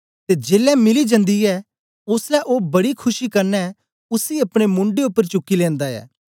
ते जेलै मिली जन्दी ऐ ओसलै ओ बड़ी खुशी कन्ने उसी अपने मुंड्डे उपर चुकी लेनदा ऐ